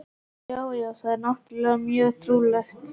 Já, já, það er náttúrlega mjög trúlegt.